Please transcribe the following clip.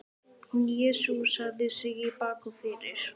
Hún jesúsaði sig í bak og fyrir.